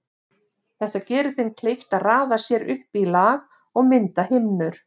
Þetta gerir þeim kleift að raða sér upp í lag og mynda himnur.